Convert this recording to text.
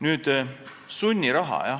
Nüüd sunnirahast.